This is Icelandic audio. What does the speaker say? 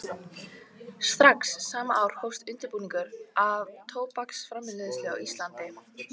Strax sama ár hófst undirbúningur að tóbaksframleiðslu á Íslandi.